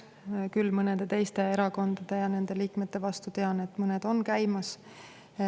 Küll tean, et mõned menetlused mõnede teiste erakondade ja nende liikmete vastu on käimas.